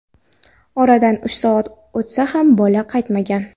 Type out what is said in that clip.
Oradan uch soat o‘tsa ham, bola qaytmagan.